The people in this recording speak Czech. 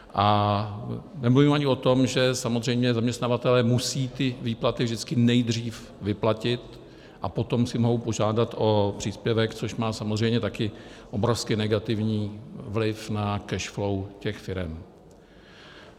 A nemluvím ani o tom, že samozřejmě zaměstnavatelé musejí ty výplaty vždycky nejdřív vyplatit a potom si mohou požádat o příspěvek, což má samozřejmě taky obrovsky negativní vliv na cash flow těch firem.